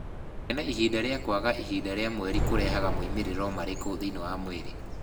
Kũgĩa na ihinda rĩa kwaga ihinda rĩa mweri kũrehaga moimĩrĩro marĩkũ thĩinĩ wa mwĩrĩ?